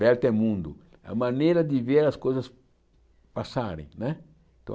Vertemundo, a maneira de ver as coisas passarem né.